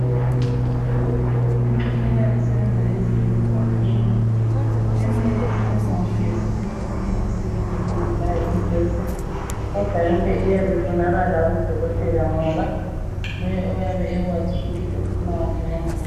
imitshina esebenza esibhedlela iminengi eminye isebenza ngogetsi eminye iyasebenza ingelaye ugetsi kodwa yonke iyabe ifunakala ku dokotela ngoba nguye oyabe ekwazi ukuthi ufuna wuphi wangkhona